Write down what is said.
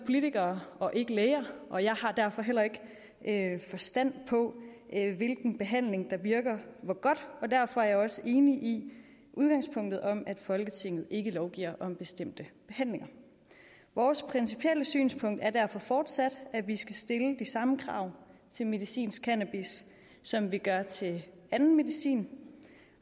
politikere og ikke læger og jeg har derfor heller ikke forstand på hvilken behandling der virker og hvor godt og derfor er jeg også enig i udgangspunktet om at folketinget ikke lovgiver om bestemte behandlinger vores principielle synspunkt er derfor fortsat at vi skal stille de samme krav til medicinsk cannabis som vi gør til anden medicin